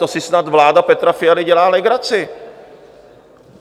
To si snad vláda Petra Fialy dělá legraci!